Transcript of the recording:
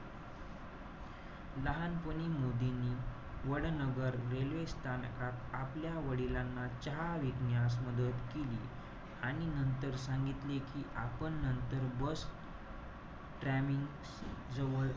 लहानपणी मोदींनी वडनगर railway स्थानकात, आपल्या वडिलांना चहा विकण्यास मदत केली. आणि नंतर सांगितले कि आपण नंतर bus जवळ,